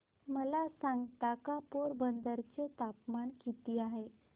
मला सांगता का पोरबंदर चे तापमान किती आहे